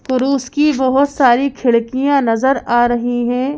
कुरुस की बहुत सारी खिड़कियाँ नजर आ रही हैं।